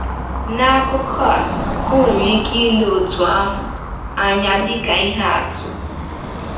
N’akụkụ a, ọ nwere ike ile otu ahụ anya dịka ihe atụ.